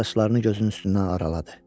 Saçlarını gözünün üstündən araladı.